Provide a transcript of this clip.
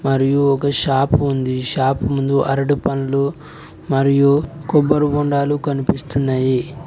మరియు ఒక షాపు ఉంది షాపు ముందు అరటి పండ్లు మరియు కొబ్బరి బొండాలు కనిపిస్తున్నాయి.